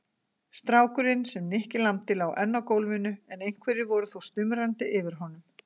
Strákurinn, sem Nikki lamdi, lá enn á gólfinu en einhverjir voru þó stumrandi yfir honum.